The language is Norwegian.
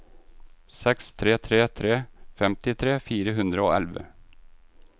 seks tre tre tre femtitre fire hundre og elleve